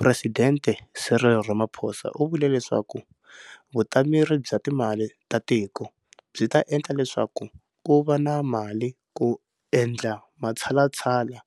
Presidente Cyril Ramaphosa u vule leswaku Vutameri bya Timali ta Tiko byi ta endla leswaku ku va na mali ku endla matshalatshala